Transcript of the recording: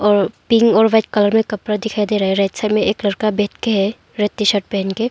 और पिंक और white colour में कपड़ा दिखाई दे रहा है रेड साइड में एक लड़का बैठ के रेड टी शर्ट पहन के।